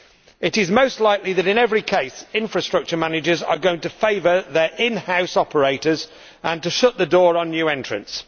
It is most likely that, in every case, infrastructure managers are going to favour their in house operators and to shut the door on new entrants.